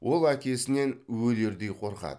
ол әкесінен өлердей қорқады